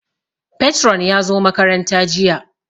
Patron ya zo makaranta jiya